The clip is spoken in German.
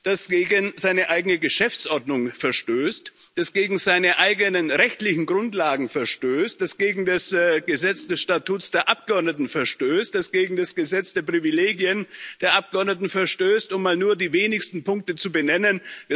das gegen seine eigene Geschäftsordnung verstößt, das gegen seine eigenen rechtlichen Grundlagen verstößt, das gegen das Statut der Abgeordneten verstößt, das gegen das Gesetz der Privilegien der Abgeordneten verstößt, um mal nur die wenigsten Punkte zu benennen.